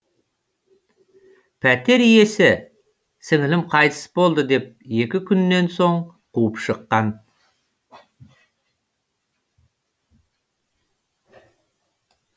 пәтер иесі сіңілім қайтыс болды деп екі күннен соң қуып шыққан